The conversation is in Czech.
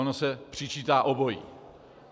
Ono se přičítá obojí.